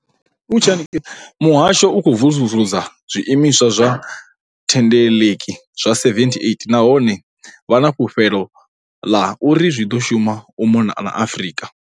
Muhasho u khou vusuludza zwiimiswa zwa thendeleki zwa 78 nahone vha na fulufhelo ḽa uri zwi ḓo shuma u mona na Afrika